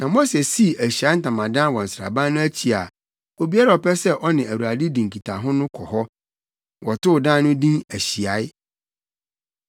Na Mose sii ahyiae ntamadan wɔ nsraban no akyi a obiara a ɔpɛ sɛ ɔne Awurade di nkitaho no kɔ hɔ. Wɔtoo dan no din Ahyiae.